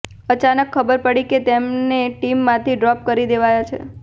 અચાનક ખબર પડી કે તેમને ટીમમાંથી ડ્રોપ કરી દેવાયા છે